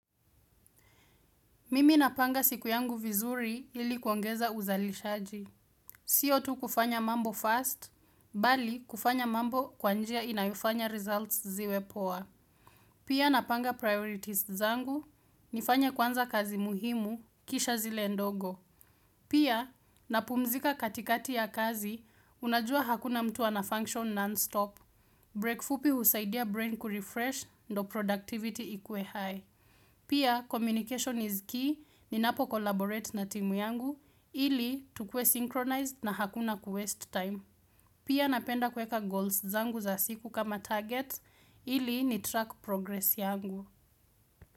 Mimi napanga siku yangu vizuri ilikuongeza uzalishaji. Siyo tu kufanya mambo first, bali kufanya mambo kwanjia inayofanya results ziwe poa. Pia napanga priorities zangu, nifanya kwanza kazi muhimu, kisha zile ndogo. Pia, napumzika katikati ya kazi, unajua hakuna mtu anafunction non-stop. Break fupi husaidia brain kurefresh, ndio productivity ikue high. Pia communication is key, ninapo collaborate na timu yangu ili tukuwe synchronized na hakuna kuwaste time. Pia napenda kuweka goals zangu za siku kama target ili nitrack progress yangu.